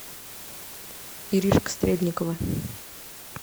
иришка стрельникова